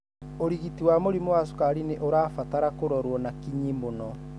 ũrigiti wa mũrimũ wa cukari nĩ ũrabatara kũrorwo na kinyi mũno.